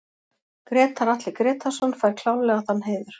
Grétar Atli Grétarsson fær klárlega þann heiður